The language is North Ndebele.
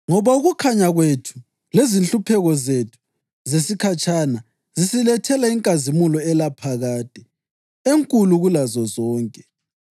Ngoba ukukhanya kwethu lezinhlupheko zethu zesikhatshana zisilethela inkazimulo elaphakade, enkulu kulazo zonke.